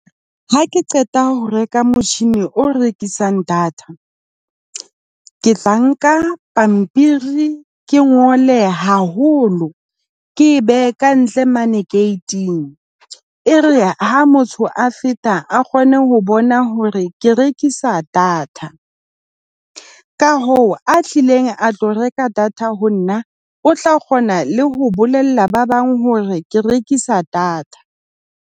Ha ke qeta ho reka motjhini o rekisang data ke tla nka pampiri, ke ngole haholo, ke behe ka ntle mane ke gate-ng. E re ha motho a feta a kgone ho bona hore ke rekisa data. Ka hoo a tlileng a tlo reka data ho nna o tla kgona le ho bolella ba bang hore ke rekisa data.